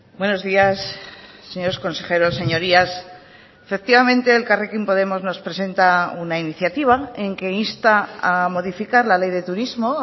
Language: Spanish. buenos días señores consejeros señorías efectivamente elkarrekin podemos nos presenta una iniciativa en que insta a modificar la ley de turismo